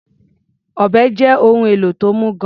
Ọ̀bẹ́ jẹ́ ohun èlò tó mú gan-an.